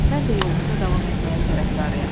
Mən də yolumuza davam etməyin tərəfdarıyam.